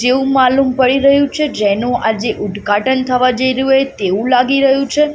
જેવુ માલુમ પડી રહ્યુ છે જેનુ આજે ઉદઘાટન થવા જઇ રહ્યુ હોય તેવુ લાગી રહ્યુ છે.